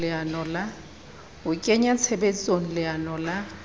ho kenya tshebetsong leano la